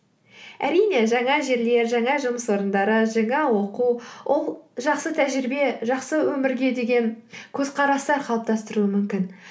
әрине жаңа жерлер жаңа жұмыс орындары жаңа оқу ол жақсы тәжірибе жақсы өмірге деген көзқарастар қалыптастыруы мүмкін